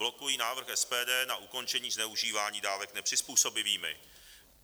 Blokují návrh SPD na ukončení zneužívání dávek nepřizpůsobivými.